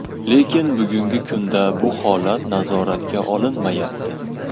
Lekin bugungi kunda bu holat nazoratga olinmayapti.